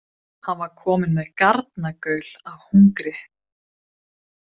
Hann var kominn með garnagaul af hungri.